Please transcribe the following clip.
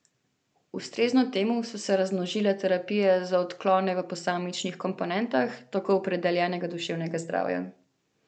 Ustrezno temu so se razmnožile terapije za odklone v posamičnih komponentah tako opredeljenega duševnega zdravja.